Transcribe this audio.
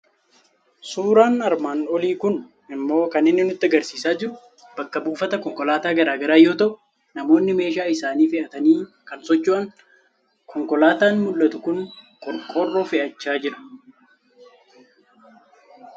Suuraan armaan olii kun immoo kan inni nutti argisiisaa jiru bakka buufata konkolaataa garaa garaa yoo ta'u, namoonni meeshaa isaanii itti fe'atanii kan socho'ani dha. Konkolaataan mul'atu kun qorqoorroo fe'achaa jira.